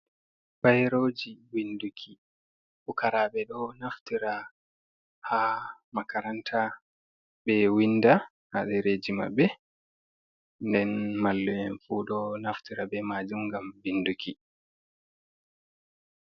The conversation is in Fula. Bayroji winduki: Pukaraɓe ɗo naftira ha makaranta ɓe winda ha ɗereji maɓɓe, nden mallu'en fu ɗo naftira be majum ngam vinduki.